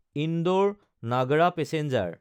Indore-Nagda passenger